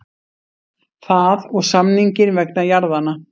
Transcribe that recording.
Það og samninginn vegna jarðanna.